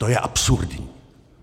To je absurdní!